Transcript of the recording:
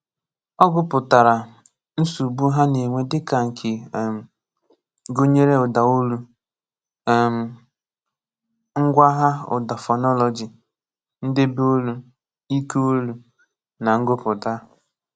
Ọ̀ gụ̀pụ̀tàrà nsọ̀bụ̀ ha na-enwé dị́kà nké um gụ̀nyere ụ̀dàolù, um ngwàghà ụ̀dà fọ́nọ́lọ́jị, ndebèolù, íkèolù, nà ngụ̀pùtà.